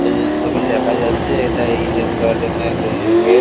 এই যে ছবি দেখা যাচ্ছে এটা ইডেন গার্ডেন -এর এ গেট ।